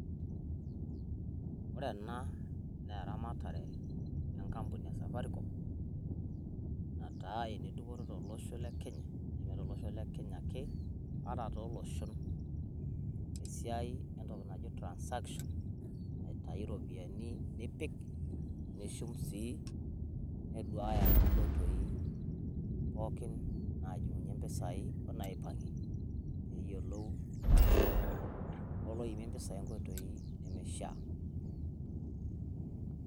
Ore ena naa eramatare enkampuni e safaricom nataa ene dupoto tolosho le kenya neme tolosho le kenya ake toloshon te siai naji transaction aitayu iropiyiani nipik ,nishum sii niduaaya too nkoitoi pookin najingunyie impisai onaaipangie niyiolou ilapurok oloimie impisai ineishia.